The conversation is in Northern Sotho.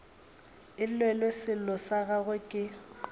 llelwe sello sa gagwe ke